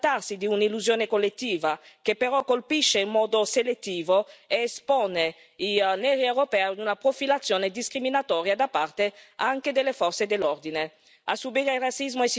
Certo, può anche trattarsi di un'illusione collettiva, che però colpisce in modo selettivo ed espone i neri europei ad una profilazione discriminatoria da parte anche delle forze dell'ordine